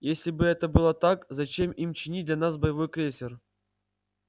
если бы это было так зачем им чинить для нас боевой крейсер